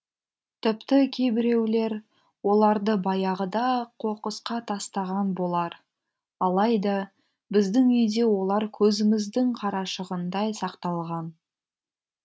тіпті кейбіреулер оларды баяғыда ақ қоқысқа тастаған болар алайда біздің үйде олар көзіміздің қарашығындай сақталған